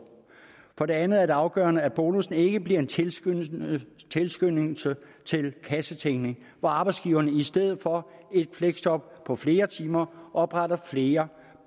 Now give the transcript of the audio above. for det andet er det afgørende at bonussen ikke bliver en tilskyndelse tilskyndelse til kassetænkning hvor arbejdsgiverne i stedet for et fleksjob på flere timer opretter flere